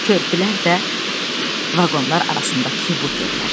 Körpülər də vaqonlar arasındakı buferlər.